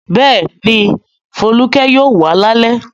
Bẹ́ẹ̀ni, Folúkẹ́ yóò wá lálẹ́.